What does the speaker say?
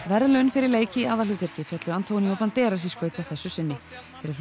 verðlaun fyrir leik í aðalhlutverki féllu antonio Banderas í skaut að þessu sinni fyrir